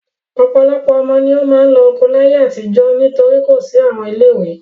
Ọ̀pọ̀lọpọ̀ ọmọ ni ó máa ń lọ oko láyé àtijọ́ nítorí kò sí àwọn ilé-ìwé.